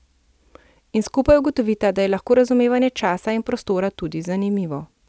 In skupaj ugotovita, da je lahko razumevanje časa in prostora tudi zanimivo.